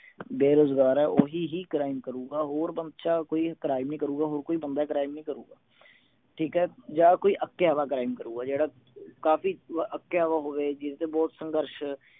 ਬੇਰੋਜਗਾਰ ਹੈ ਓਹੀ ਹੀ crime ਕਰੂਗਾ ਹੋਰ ਕੋਈ crime ਨਹੀਂ ਕਰੂਗਾ ਹੋਰ ਕੋਈ ਬੰਦਾ crime ਨਹੀਂ ਕਰੂਗਾ ਠੀਕ ਹੈ ਜਾਂ ਕੋਈ ਅੱਕਿਆ ਵਾ crime ਕਰੂਗਾ ਜਿਹੜਾ ਕਾਫੀ ਅੱਕਿਆ ਵਿਆ ਹੋਵੇ ਜਿਸਨੇ ਬਹੁਤ ਸੰਗਰਸ਼